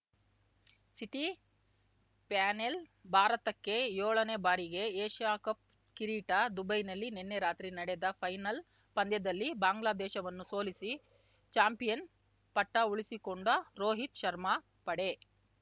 city panel ಭಾರತಕ್ಕೆ ಯೋಳನೇ ಬಾರಿಗೆ ಏಷ್ಯಾ ಕಪ್‌ ಕಿರೀಟ ದುಬೈನಲ್ಲಿ ನಿನ್ನೆ ರಾತ್ರಿ ನಡೆದ ಫೈನಲ್‌ ಪಂದ್ಯದಲ್ಲಿ ಬಾಂಗ್ಲಾದೇಶವನ್ನು ಸೋಲಿಸಿ ಚಾಂಪಿಯನ್‌ ಪಟ್ಟಉಳಿಸಿಕೊಂಡ ರೋಹಿತ್‌ ಶರ್ಮಾ ಪಡೆ